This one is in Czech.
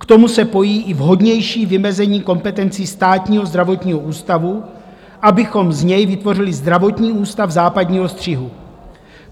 K tomu se pojí i vhodnější vymezení kompetencí Státního zdravotního ústavu, abychom z něj vytvořili zdravotní ústav západního střihu.